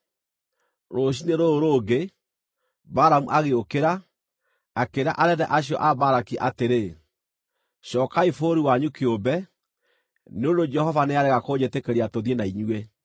Rũciinĩ rũrũ rũngĩ, Balamu agĩũkĩra, akĩĩra anene acio a Balaki atĩrĩ, “Cookai bũrũri wanyu kĩũmbe, nĩ ũndũ Jehova nĩarega kũnjĩtĩkĩria tũthiĩ na inyuĩ.”